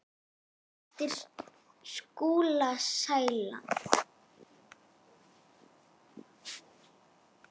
eftir Skúla Sæland.